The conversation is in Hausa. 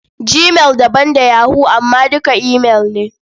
Gmail daban da yahoo amma duka imail ne.